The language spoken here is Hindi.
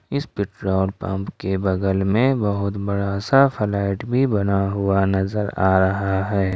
इस पेट्रोल पंप के बगल में बहुत बड़ा सा फ्लैट भी बना हुआ नजर आ रहा है।